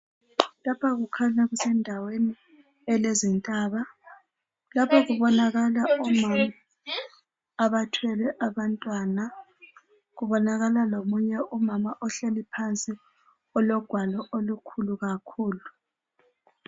Lapha kukhanya kusendaweni elezintaba. Lapha kubonakala omama abathwele abantwana. Kubonakala lomunye umama ohleli phansi ologwalo olukhulu kakhulu.